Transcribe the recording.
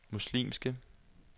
muslimske